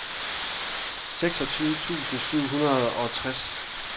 seksogtyve tusind syv hundrede og treogtres